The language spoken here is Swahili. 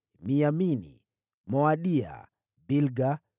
Miyamini, Moadia, Bilga,